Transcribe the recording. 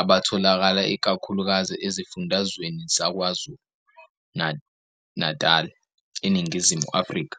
abatholakala ikakhulukazi esifundazweni sakwaZulu-Natal, eNingizimu Afrika.